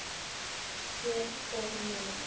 Hér og nú.